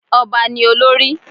Ọba ni olórí